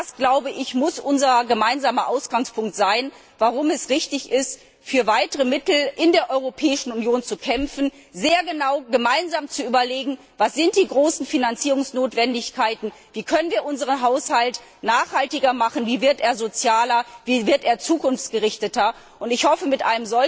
Und das muss unser gemeinsamer Ausgangspunkt sein, warum es richtig ist, für weitere Mittel in der Europäischen Union zu kämpfen und sehr genau gemeinsam zu überlegen, was die großen Finanzierungsnotwendigkeiten sind, wie wir unseren Haushalt nachhaltiger machen können, wie er sozialer wird, wie er zukunftsgerichteter wird. Ich hoffe, dass wir